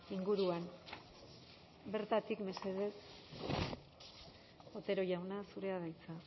inguruan bertatik mesedez otero jauna zurea da hitza